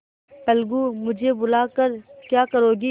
अलगूमुझे बुला कर क्या करोगी